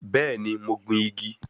Bẹ́ẹ̀ni, mo gbìn igi